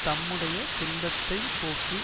தம்முடைய துன்பத்தை போக்கி